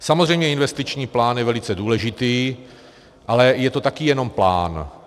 Samozřejmě investiční plán je velice důležitý, ale je to taky jenom plán.